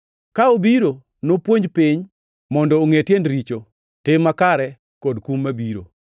Ka obiro, nopuonj piny mondo ongʼe tiend richo, tim makare kod kum mabiro.